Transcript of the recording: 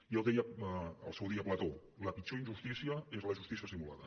ja ho deia al seu dia plató la pitjor injustícia és la justícia simulada